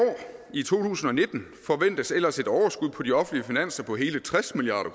i to tusind og nitten forventes ellers et overskud på de offentlige finanser på hele tres milliard